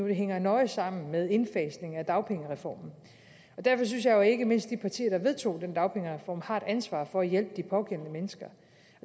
hænger nøje sammen med indfasningen af dagpengereformen derfor synes jeg jo at ikke mindst de partier der vedtog den dagpengereform har et ansvar for at hjælpe de pågældende mennesker